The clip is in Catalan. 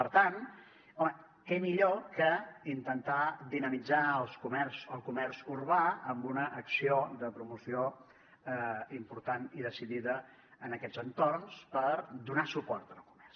per tant home què millor que intentar dinamitzar el comerç urbà amb una acció de promoció important i decidida en aquests entorns per donar suport al comerç